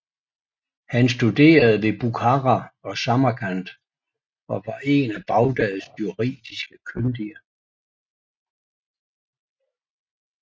Han studerede ved Bukhara og Samarkand og var én af Baghdads juridisk kyndige